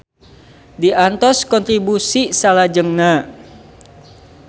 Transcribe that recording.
Diantos kontribusi salajengna.